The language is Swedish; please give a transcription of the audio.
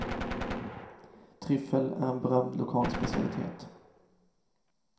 Tryffel är en berömd lokal specialitet.